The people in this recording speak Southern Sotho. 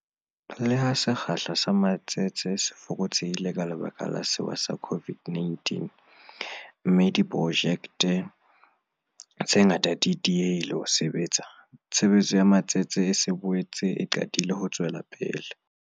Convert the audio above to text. Le ha sekgahla sa matsete se fokotsehile ka lebaka la sewa sa COVID-19, mme diprojekte tse ngata di diehile ho sebetsa, tshebetso ya matsete e se e boetse e qadile ho tswela pele.